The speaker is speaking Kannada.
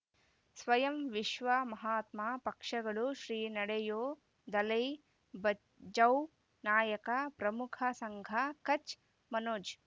ಸ್ವಯಂ ವಿಶ್ವ ಮಹಾತ್ಮ ಪಕ್ಷಗಳು ಶ್ರೀ ನಡೆಯೂ ದಲೈ ಬಚೌ ನಾಯಕ ಪ್ರಮುಖ ಸಂಘ ಕಚ್ ಮನೋಜ್